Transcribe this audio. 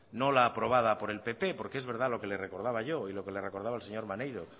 no la aprobada por el pp porque es verdad lo que le recordaba yo y lo que le recordaba el señor maneiro